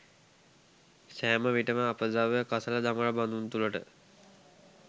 සෑම විටම අපද්‍රව්‍ය කසළ දමන බඳුන් තුළට